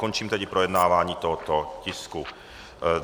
Končím tedy projednávání tohoto tisku.